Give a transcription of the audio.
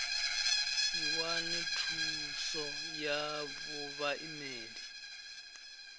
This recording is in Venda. si wane thuos ya vhaimeli